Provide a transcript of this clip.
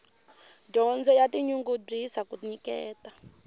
dyondzo ya tinyungubyisa ku nyiketa